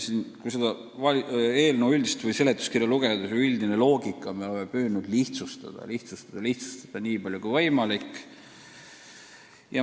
Kui seda eelnõu ja seletuskirja lugeda, siis on ehk aru saada, et me oleme püüdnud regulatsiooni lihtsustada – lihtsustada nii palju, kui võimalik.